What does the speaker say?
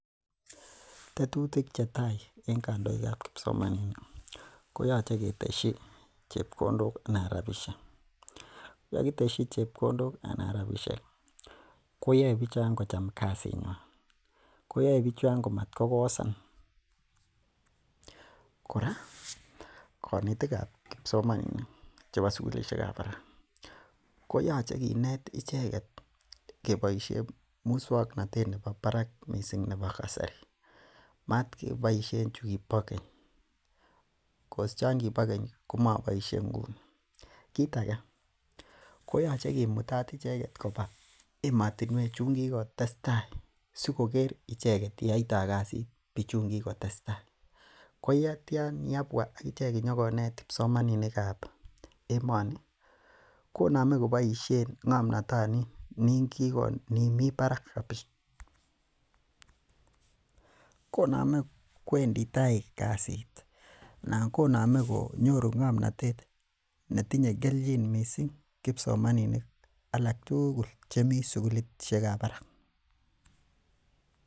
Tetutik chetai en kandoikab kibsomaninik koyoche ketesyi chebkondok anan ropisiek yekitesyi chebkondok anan ropisiek koyoe bichon kocham kasinywan, koyoe bichon komotkokosan kora konetikab kibsomaninik chebo sukulisiek kab barak koyoche kinet icheket keboisien musuaknotet en nebo barak missing nebo kasari moten keboisien chukibokeny cause komoboisie nguni kit age ko koyoche kimutat icheket koba emotinuek chuun kikotestai sikoker icheket yeoito kasit bichuun kitestai. Koyeitia kabua akichek inyokonet kibsomaninikab emoni, Konami keboisien ng'amnotoniin mii barak konamei kwendi tai kasit anan konamei konyoru ng'amnotet netinye kelchin missing kibsomaninik alak tugul chemii sukulisiekab barak